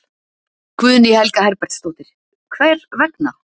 Guðný Helga Herbertsdóttir: Hver vegna?